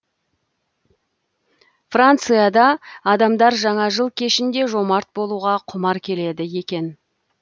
францида адамдар жаңа жыл кешінде жомарт болуға құмар келеді екен